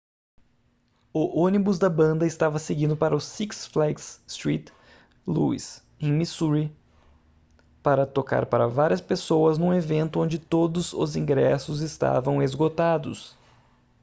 o ônibus da banda estava seguindo para o six flags st louis em missouri para tocar para várias pessoas num evento onde todos os ingressos estavam esgotados